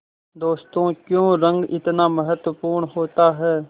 दोस्तों क्यों रंग इतना महत्वपूर्ण होता है